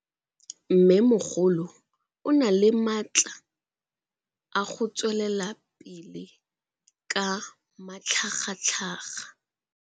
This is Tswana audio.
Mmêmogolo o na le matla a go tswelela pele ka matlhagatlhaga.